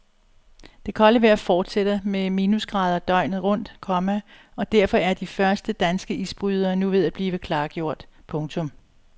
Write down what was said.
Det kolde vejr fortsætter med minusgrader døgnet rundt, komma og derfor er de første danske isbrydere nu ved at blive klargjort. punktum